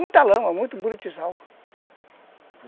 Muita lama, muito buritizal